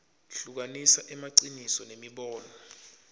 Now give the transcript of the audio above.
hlukanisa emaciniso nemibono